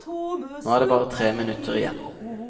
Nå er det bare tre minutter igjen.